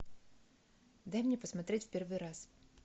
дай мне посмотреть в первый раз